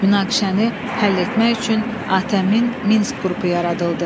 Münaqişəni həll etmək üçün ATƏM-in Minsk qrupu yaradıldı.